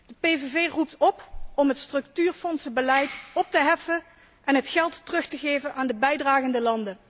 De PVV roept op om het structuurfondsenbeleid op te heffen en het geld terug te geven aan de bijdragende landen.